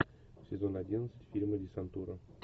сезон одиннадцать фильма десантура